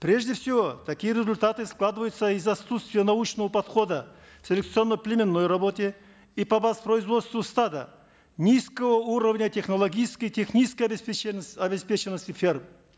прежде всего такие результаты складываются из за отсутствия научного подхода к селекционно племенной работе и по воспроизводству стада низкого уровня технологической технической обеспеченности ферм